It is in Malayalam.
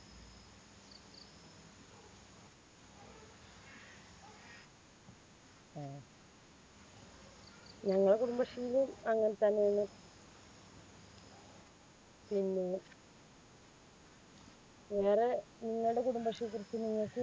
ഞങ്ങൾടെ കുടുംബശ്രീയിലും അങ്ങനെ തന്നെയാണ്. പിന്നെ വേറെ നിങ്ങളുടെ കുടുംബശ്രീയെക്കുറിച്ച് നിങ്ങൾക്ക്